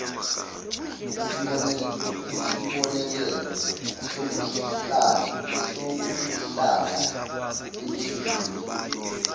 isibonelelo sokuhlala belindile